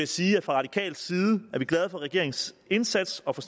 sige at fra radikal side er vi glade for regeringens indsats og for